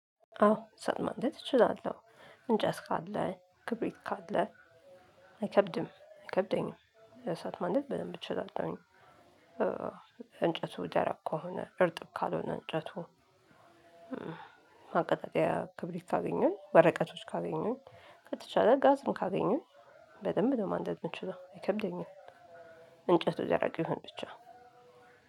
አዎ እሳት ማንደድ እችላለሁ እንጨት ካለ ክብሪት ካለ አይከብድም አይከብደኝም እሳት ማንደድ በደንብ እችላለሁኝ። እንጨቱ ደረቅ ከሆነ እርጥብ ካልሆነ እንጨቱ ማቀጣጠያ ክብሪት ካገኘሁኝ ወረቀቶች ካገኘሁኝ ከተቻለ ጋዝም ካገኘሁኝ በደንብ ነው ማንደድ የምችለው አይከብደኝም እንጨቱ የደረቀ ይሁን ብቻ።